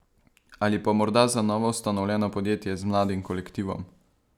Ali pa morda za novoustanovljeno podjetje, z mladim kolektivom?